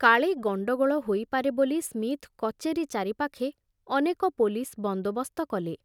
କାଳେ ଗଣ୍ଡଗୋଳ ହୋଇପାରେ ବୋଲି ସ୍ମିଥ କଚେରୀ ଚାରିପାଖେ ଅନେକ ପୋଲିସ ବନ୍ଦୋବସ୍ତ କଲେ।